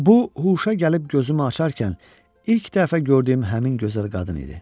Bu huşa gəlib gözümü açarkən ilk dəfə gördüyüm həmin gözəl qadın idi.